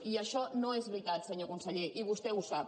i això no és veritat senyor conseller i vostè ho sap